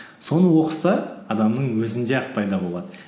соны оқыса адамның өзінде ақ пайда болады